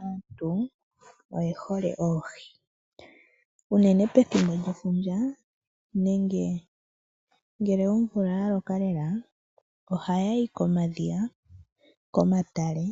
Aantu oyehole oohi, uunene pethimbo lyefundja nenge ngele omvula yaloka lela, ohaya yi komadhiya, komatale